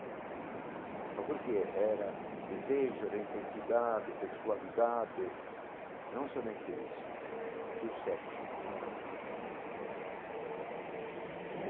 Mas porque era desejo, era intensidade, sexualidade, não somente isso, que o sexo não é pecado.